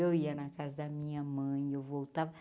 Eu ia na casa da minha mãe, eu voltava.